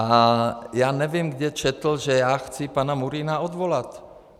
A já nevím, kde četl, že já chci pana Murína odvolat.